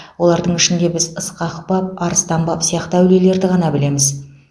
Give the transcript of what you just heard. олардың ішінде біз ысқақ баб арыстан баб сияқты әулиелерді ғана білеміз